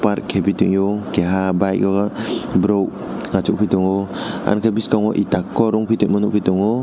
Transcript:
arebito kiha bike o borok achuk oi tongo am tui bskango darke nugitongo.